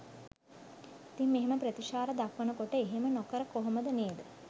ඉතිං මෙහෙම ප්‍රතිචාර දක්වන කොට එහෙම නොකර කොහොමද නේද?